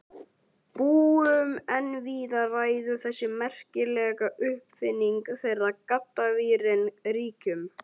Búum en víða ræður þessi merkilega uppfinning þeirra, gaddavírinn, ríkjum.